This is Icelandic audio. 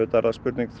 spurning